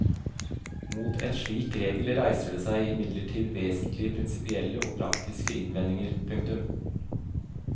Mot en slik regel reiser det seg imidlertid vesentlige prinsippielle og praktiske innvendinger. punktum